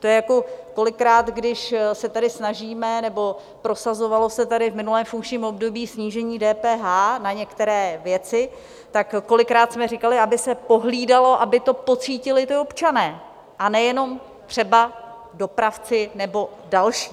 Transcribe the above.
To je jako kolikrát, když se tady snažíme, nebo prosazovalo se tady v minulém funkčním období, snížení DPH na některé věci, tak kolikrát jsme říkali, aby se pohlídalo, aby to pocítili občané, a ne jenom třeba dopravci nebo další.